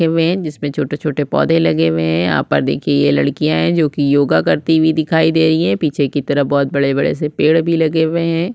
में है जिसमे छोट- छोटे पौधे लगे हुए हे यहाँ पर देखिये ये लड़कीयां है जो कि योगा करती हुई दिखाई दे रही हे पीछे की तरफ बहोत बड़े-बड़े से पेड़ भी लगे हुए है।